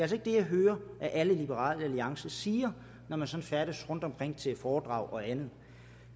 det jeg hører at alle i liberal alliance siger når man sådan færdes rundtomkring til foredrag og andet